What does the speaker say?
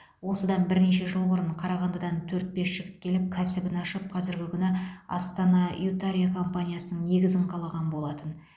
осыдан бірнеше жыл бұрын қарағандыдан төрт бес жігіт келіп кәсібін ашып қазіргі күні астана ютария компаниясының негізін қалаған болатын